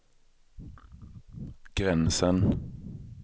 gränsen